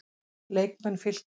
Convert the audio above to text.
Leikmenn Fylkis